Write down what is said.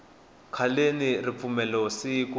khaleni ripfumelo siku